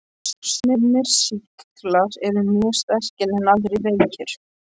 Sumir sýklar eru mjög sterkir en aðrir veikir.